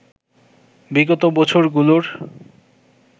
বিগত বছরগুলোর